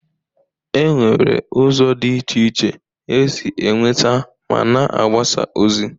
E nwere ụzọ dị iche iche esi e nweta ma na agbasa ozi.